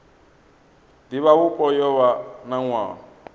divhavhupo yo vha na nwaha